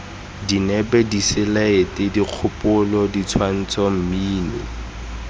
dinepe diselaete dikgopolo ditshwantsho mmino